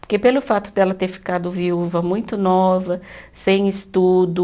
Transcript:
Porque pelo fato dela ter ficado viúva muito nova, sem estudo.